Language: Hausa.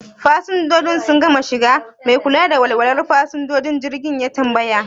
Fasinjojin sun gama shiga? Mai kula da walwalar fasinjojin jirgi ya tambaya.